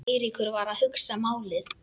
Eiríkur var að hugsa málið.